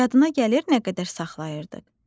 “Yadına gəlir nə qədər saxlayırdıq?”